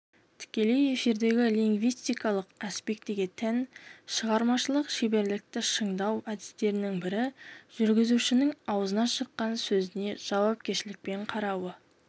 тікелей эфирдегі лингвистикалық аспектіге тән шығармашылық шеберлікті шыңдау әдістерінің бірі жүргізушінің аузынан шыққан сөзіне жауапкершілікпен қарауы